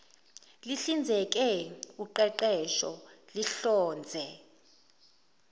lihlinzeke uqeqesho lihlonze